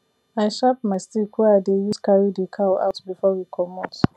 i sharp my stick wey i dey use carry the cow out before we comot